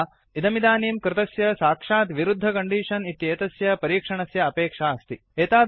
अन्यथा इदमिदानीं कृतस्य साक्षात् विरुद्धं कण्डीषन् इतेतस्य परीक्षणस्य अपेक्षा अस्ति